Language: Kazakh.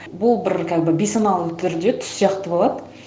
бұл бір как бы бейсаналы түрде түс сияқты болады